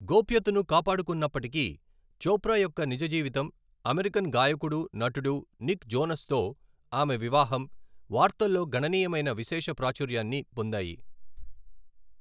గోప్యతను కాపాడుకున్నప్పటికీ, చోప్రా యొక్క నిజ జీవితం, అమెరికన్ గాయకుడు, నటుడు నిక్ జోనస్తో ఆమె వివాహం, వార్తల్లో గణనీయమైన విశేష ప్రాచుర్యాన్ని పొందాయి.